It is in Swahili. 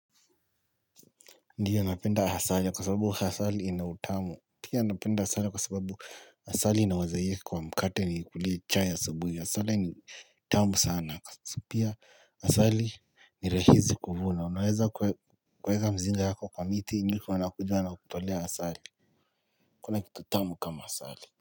Ndiyo napenda asali kwa sababu asali ina utamu. Pia napenda asali kwa sababu asali inawazaye kwa mkate niikulie chai ya asubuhi. Asali ni tamu sana. Pia asali ni rahisi kuvuna. Unaweza kuweka mzinga yako kwa miti nyuki wanakuja wanakutolea asali. Hakuna kitu tamu kama asali.